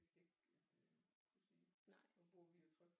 Det skal jeg ikke kunne sige nu bor vi jo trygt